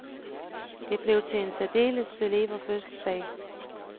Det blev til en særdeles celeber fødselsdag.